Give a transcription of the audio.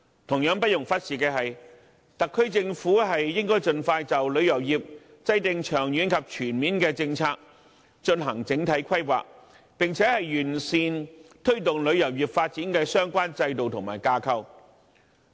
同樣不容忽視的是，特區政府應該盡快就旅遊業制訂長遠及全面的政策和進行整體規劃，並且完善推動旅遊業發展的相關制度和架構。